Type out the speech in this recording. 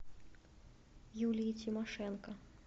юлии тимошенко